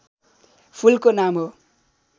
फूलको नाम हो